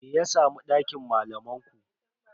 Me ya samu dakin malaman ku?